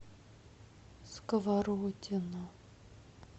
сковородино